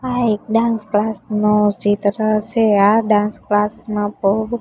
આ એક dance class નો ચિત્ર સે આ ડાન્સ ક્લાસ માં બો--